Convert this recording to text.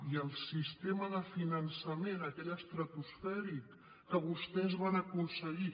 i el sistema de finançament aquell estratosfèric que vostès van aconseguir